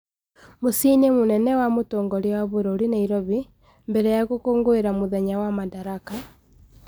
Mũciĩ-inĩ mũnene wa mũtongoria wa bũrũri Nairobi, mbere ya gũkũngũĩra mũthenya wa Madaraka,